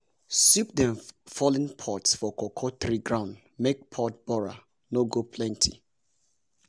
sweep dem fallen pods for cocoa tree ground make pod borer no go plenty.